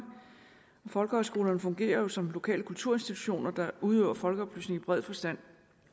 folkehøjskolerne fungerer jo som lokale kulturinstitutioner der udøver folkeoplysning i bred forstand